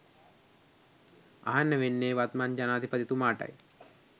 අහන්න වෙන්නේ වත්මන් ජනාධිපතිතුමාටයි